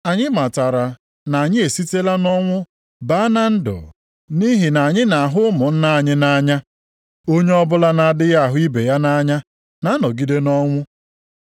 Anyị matara na anyị esitela nʼọnwụ baa na ndụ nʼihi na anyị na-ahụ ụmụnna + 3:14 Maọbụ, anyị na-ahụrịta onwe anyị nʼanya anyị nʼanya. Onye ọbụla na-adịghị ahụ ibe ya nʼanya na-anọgide nʼọnwụ.